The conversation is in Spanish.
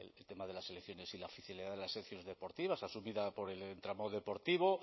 el tema de las selecciones y la oficialidad de las selecciones deportivas asumida por el tramo deportivo